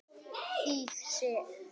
Þýð. Sig.